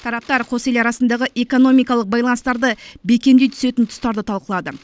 тараптар қос ел арасындағы экономикалық байланыстарды бекемдей түсетін тұстарды талқылады